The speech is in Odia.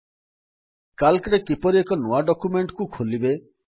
ସିଏଏଲସି ରେ କିପରି ଏକ ନୂଆ ଡକ୍ୟୁମେଣ୍ଟ୍ କୁ ଖୋଲିବେ